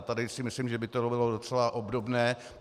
A tady si myslím, že by to bylo docela obdobné.